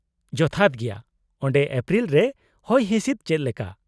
-ᱡᱚᱛᱷᱟᱛ ᱜᱮᱭᱟ ᱾ ᱚᱸᱰᱮ ᱮᱯᱨᱤᱞ ᱨᱮ ᱦᱚᱭᱦᱤᱸᱥᱤᱫ ᱪᱮᱫ ᱞᱮᱠᱟ ?